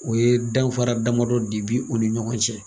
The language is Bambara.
O ye danfara damadɔ de be u ni ɲɔgɔn cɛ.